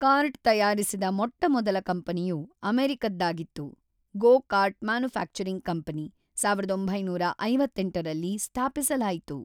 Cart ತಯಾರಿಸಿದ ಮೊಟ್ಟ ಮೊದಲ ಕಂಪನಿಯು ಅಮೆರಿಕದ್ದಾಗಿತ್ತು ಗೋ ಕಾರ್ಟ್ ಮ್ಯಾನುಫ್ಯಾಕ್ಚರಿಂಗ್ ಕಂಪನಿ ೧೯೫೮ ರಲ್ಲಿ ಸ್ಥಾಪಿಸಲಾಯಿತು.